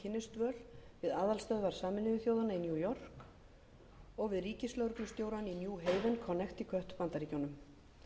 hann í náms og kynnisdvöl við aðalstöðvar sameinuðu þjóðanna í new york og við ríkislögregluskólann í new haven connecticut bandaríkjunum